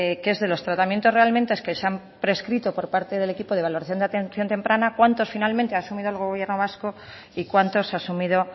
que es que de los tratamientos realmente que se han prescrito por parte del equipo de evaluación de atención temprana cuántos finalmente ha asumido el gobierno vasco y cuántos ha asumido